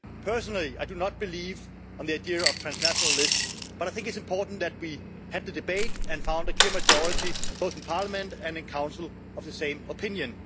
Personally, I do not believe in the idea of a transnational list, but I think it's important that we had the debate and found a clear majority, both in Parliament and in Council, of the same opinion.